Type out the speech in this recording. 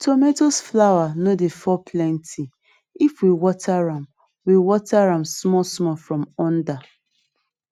tomatoes flower no dey fall plenty if we water am we water am small small from under